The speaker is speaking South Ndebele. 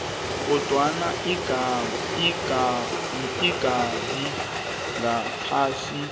kodwana ingabi ngaphasi